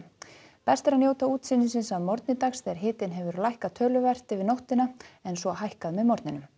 best er að njóta útsýnis að morgni dags þegar hitinn hefur lækkað töluvert yfir nóttina en svo hækkað með morgninum